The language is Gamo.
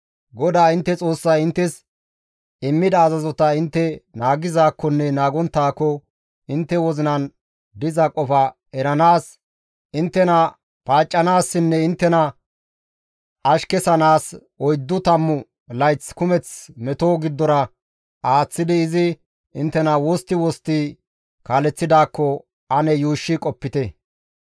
GODAA intte Xoossay inttes immida azazota intte naagizaakkonne naagonttaakko intte wozinan diza qofa eranaas, inttena paaccanaassinne inttena ashkesanaas oyddu tammu layth kumeth meto giddora aaththidi izi inttena wostti wostti kaaleththidaakko ane yuushshi qopite.